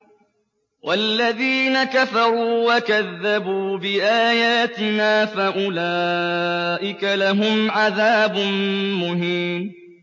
وَالَّذِينَ كَفَرُوا وَكَذَّبُوا بِآيَاتِنَا فَأُولَٰئِكَ لَهُمْ عَذَابٌ مُّهِينٌ